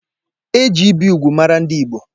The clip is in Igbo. Eji ibi úgwù mara ndị Igbo.